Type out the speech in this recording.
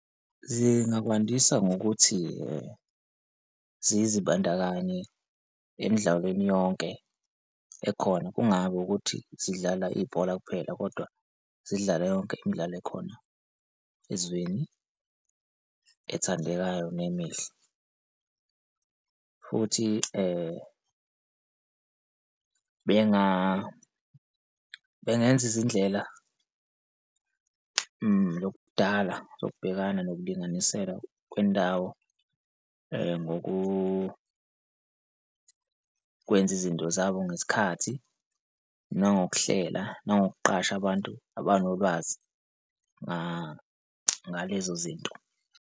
Zingakwandisa ngokuthi zizibandakanye emdlalweni yonke ekhona, kungabi ukuthi zidlala ibhola kuphela kodwa zidlale yonke imidlalo ekhona, ezweni ethandekayo nemihle. Futhi bengenza izindlela lokudala zokubhekana nokulinganisela kwendawo ngokukwenza izinto zabo ngesikhathi nangokuhlela nangokuqasha abantu abanolwazi ngalezo zinto.